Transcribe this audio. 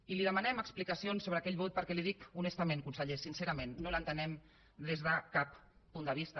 i li demanem explicacions sobre aquell vot perquè li ho dic honestament conseller sincerament no l’entenem des de cap punt de vista